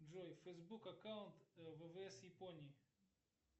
джой фейсбук аккаунт ввс японии